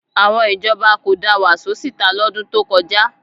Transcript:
Àwọn ìjọba kò da Wàsó síta lọ́dún tó kọjá